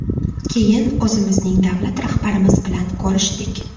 Keyin o‘zimizning davlat rahbarimiz bilan ko‘rishdik.